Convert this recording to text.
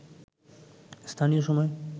স্থানীয় সময়